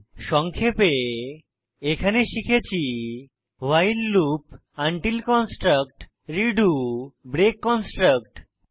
সংক্ষেপে এখানে শিখেছি while loop until construct redo break construct সম্পর্কে